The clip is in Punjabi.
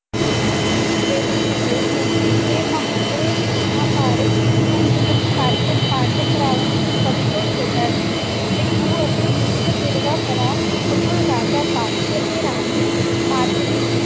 ਹਾਂ ਜੀ ਜਿਹੜਾ ਸਹਿਦੇਵ ਸੀ ਨਾ ਇਹ ਮਹਾਕਾਵਿ ਮਹਾਕਾਰਕ ਦੇ ਪੰਜ ਮੁੱਖ ਪਾੱਤਰ ਪੰਜ ਭਰਾਵਾਂ ਵਿਚੋਂ ਸਭ ਤੋਂ ਛੋਟਾ ਸੀ ਤੇ ਉਹ ਅਸੀਂ ਉਸਦਾ ਜੁੜਵਾ ਭਰਾ ਨਕੁਲ ਰਾਜਾ ਪਾਂਡੂ ਅਤੇ ਰਾਣੀ ਮਾਦ੍ਰੀ